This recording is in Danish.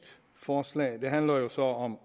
forslag det handler jo så om